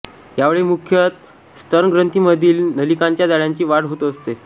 यावेळी मुख्यतः स्तनग्रंथींमधील नलिकांच्या जाळ्यांची वाढ होत असते